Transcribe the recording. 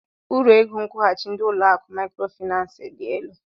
Uru ego nkwụghachi ndị ụlọ akụ Maịkrofịnansị dị elu.